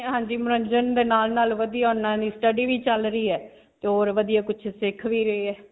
ਹਾਂਜੀ, ਮਨੋਰੰਜਨ ਦੇ ਨਾਲ-ਨਾਲ ਵਧੀਆ ਨਾਲ study ਵੀ ਚਲ ਰਹੀ ਹੈ ਤੇ ਹੋਰ ਵਧੀਆ ਕੁਝ ਸਿੱਖ ਵੀ ਰਹੇ ਹੈ.